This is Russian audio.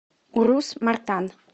урус мартан